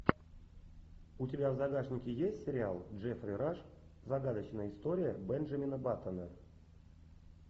у тебя в загашнике есть сериал джеффри раш загадочная история бенджамина баттона